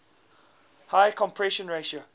higher compression ratio